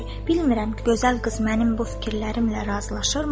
Bilmirəm, gözəl qız mənim bu fikirlərimlə razılaşırmı?